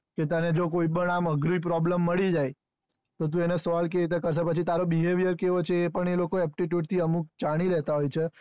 કે તને જો કોઈ પણ આમ અઘરી problem મળી જાય તો તું એને solve કઈ રીતે કરીશ પછી તારો behavior કેવો છે એ પણ એ લોકો aptitude એ લોકો જાણી લેતા હોય છે,